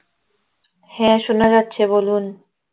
হ্যাঁ শোনা যাচ্ছে বলুন